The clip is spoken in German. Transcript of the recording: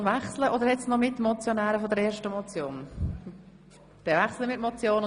Hat es noch Mitmotionäre der ersten Motion, die sich äussern wollen?